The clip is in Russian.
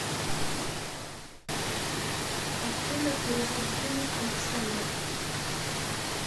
афина перевод денег александр